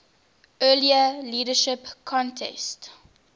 earlier leadership contest